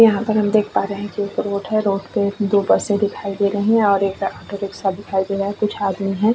यहाँ पर हम देख पा रहे हैं कि एक रोड है रोड पे दो बसे दिखाई दे रही है और एक साथ दिखाई दे रहा है कुछ आदमी है।